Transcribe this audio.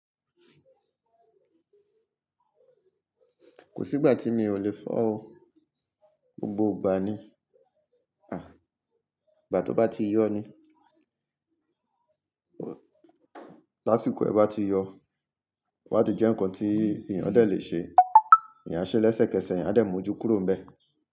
Kò sí ìgbà tí mi ò lè fọ́ o. Gbogbo ìgbà ni. À, ìgbà tó bá ti yọ́ ni. Tásìkò ẹ bá ti yọ, tó bá ti jẹ́ ǹkan tí èèyàn dẹ̀ lè ṣe. Èèyàn a ṣe lẹ́sẹ̀kẹsẹ̀, èèyàn á dẹ mú ojú kúrò níbẹ̀